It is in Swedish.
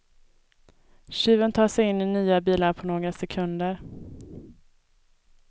Tjuven tar sig in i nya bilar på några sekunder.